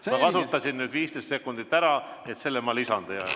Ma kasutasin nüüd 15 sekundit ära, nii et selle ma lisan teie ajale.